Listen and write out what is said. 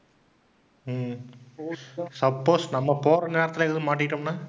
ஹம் suppose நம்ப போற நேரத்துல எதுவும் மாட்டிகிட்டோம்னா?